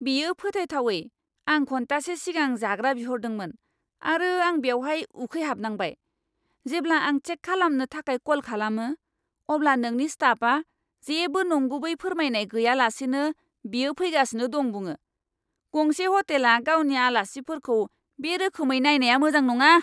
बेयो फोथायथावै! आं घन्टासे सिगां जाग्रा बिहरदोंमोन, आरो आं बेवहाय उखैहाबनांबाय। जेब्ला आं चेक खालामनो थाखाय कल खालामो, अब्ला नोंनि स्टाफआ जेबो नंगुबै फोरमायनाय गैयालासेनो बियो फैगासिनो दं बुङो। गंसे ह'टेला गावनि आलासिफोरखौ बे रोखोमै नायनाया मोजां नङा!